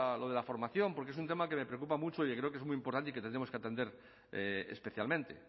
lo de la formación porque es un tema que me preocupa mucho y creo que es muy importante y que tendremos que atender especialmente